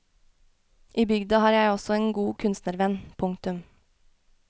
I bygda har jeg også en god kunstnervenn. punktum